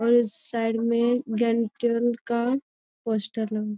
और साइड में डेंटल का पोस्टर ल --